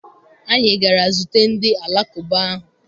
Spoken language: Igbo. Anyị gara zute ndị Alakụba ahụ